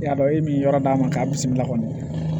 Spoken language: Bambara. I y'a dɔn e min yɔrɔ d'a ma k'a bisimila kɔni